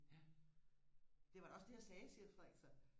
det var da også det jeg sagde siger Frederik så